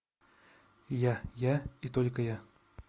я я и только я